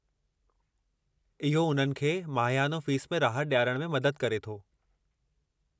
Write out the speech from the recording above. इहो उन्हनि खे माहियानो फ़ीस में राहत ॾियारणु में मदद करे थो।